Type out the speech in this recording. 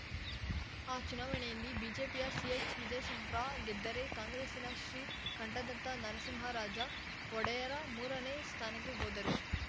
ಆ ಚುನಾವಣೆಯಲ್ಲಿ ಬಿಜೆಪಿಯ ಸಿಎಚ್‌ವಿಜಯಶಂಕ್ರ ಗೆದ್ದರೆ ಕಾಂಗ್ರೆಸ್‌ನ ಶ್ರೀಕಂಠದತ್ತ ನರಸಿಂಹರಾಜ ಒಡೆಯರ ಮೂರನೇ ಸ್ಥಾನಕ್ಕೆ ಹೋದರು